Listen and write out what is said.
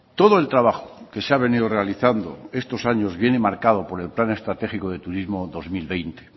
todo el trabajo que se ha venido realizando estos años viene marcado por el plan estratégico de turismo dos mil veinte